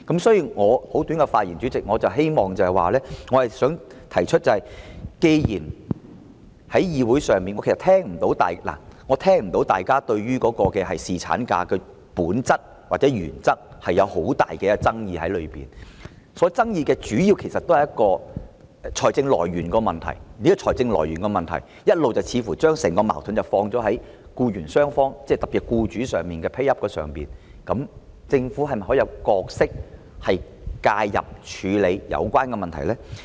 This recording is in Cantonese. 所以，代理主席，我簡短發言，只是想提出，既然在議會上我聽不到大家對侍產假的本質或原則有很大的爭議，主要的爭議是財政來源的問題，而財政來源的問題，似乎一直將整個矛盾放在僱傭雙方，特別是僱主 pay up 上，政府是否可以擔當一個角色，介入處理有關問題呢？